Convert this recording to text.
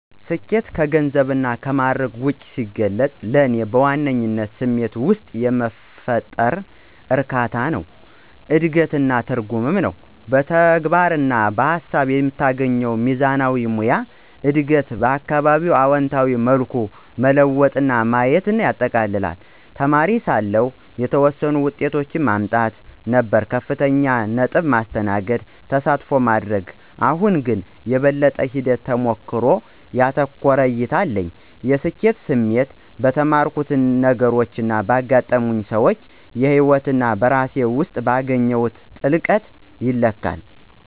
ስኬትን ከገንዘብና ከማዕረግ ውጭ ሲገልጽ፣ ለእኔ በዋነኝነት ስሜት ውስጥ የሚፈጠር እርካታ፣ እድገት እና ትርጉም ነው። በተግባር እና በሃሳብ የምትገኘው ሚዛናዊነት፣ ሙያዊ እድገት እና አካባቢዬን በአዎንታዊ መልኩ መለወጥ ማየቴን ያጠቃልላል። እንደ ተማሪ ሳለሁ፣ ስኬት የተወሰኑ ውጤቶችን ማምጣት ነበር - ከፍተኛ ነጥብ፣ ማስተናገድ፣ ተሳትፎ ማድረግ። አሁን ግን፣ የበለጠ ሂደት-ተሞክሮን ያተኮረ እይታ አለኝ። የስኬት ስሜት በተማርኩት ነገሮች፣ በገጠመኝ ሰዎች ህይወት እና በራሴ ውስጥ ባገኘሁት ጥልቀት ይለካል።